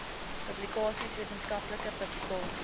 publikasies wetenskaplike publikasies